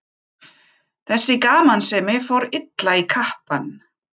Þessi gamansemi fór illa í kappann.